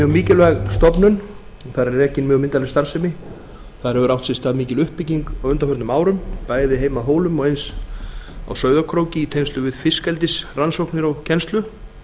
mikilvæg stofnun og þar er rekin mjög myndarleg starfsemi þar hefur átt sér stað mikil uppbygging á undanförnum árum bæði heima á hólum og eins á sauðárkróki í tengslum við fiskeldisrannsóknir og kennslu